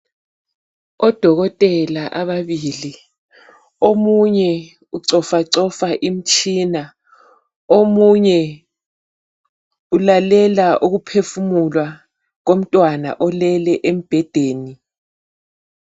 Odokotela ababili omunye ucofacofa imtshina, omunye ulalela ukuphefumula komntwana olele embhedeni.